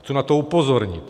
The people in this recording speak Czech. Chci na to upozornit.